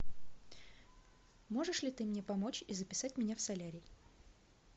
можешь ли ты мне помочь и записать меня в солярий